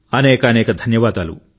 అనేకానేక ధన్యవాదాలు